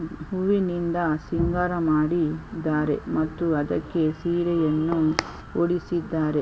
ಹೂವುನಿಂದ ಸಿಂಗಾರ ಮಾಡಿ ದ್ದಾರೆ ಮತ್ತು ಅದಕ್ಕೆ ಸೀರೆಯನ್ನು ಉಡಿಸಿದ್ದಾರೆ.